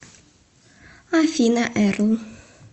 афина эрл